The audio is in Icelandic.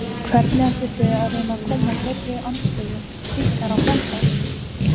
Hvernig ætlið þið að reyna að koma þeirri andstöðu ykkar á framfæri?